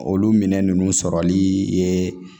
Olu minɛ ninnu sɔrɔli ye